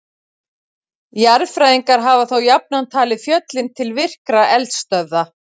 Jarðfræðingar hafa þó jafnan talið fjöllin til virkra eldstöðva.